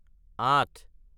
আঠ